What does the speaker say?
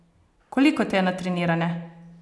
Koliko te je natrenirane?